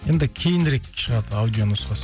енді кейінірек шығады аудионұсқасы